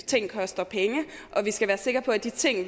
ting koster penge og at vi skal være sikre på at de ting